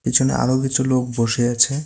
পিছনে আরও কিছু লোক বসে আছে।